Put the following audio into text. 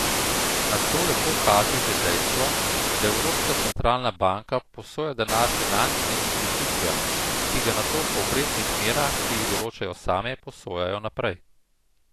Na to lepo kaže že dejstvo, da Evropska centralna banka posoja denar finančnim institucijam, ki ga nato po obrestnih merah, ki jih določajo same, posojajo naprej.